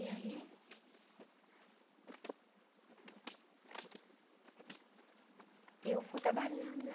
E aí... Eu fui trabalhando lá.